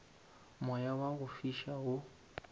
moya wa go fiša wo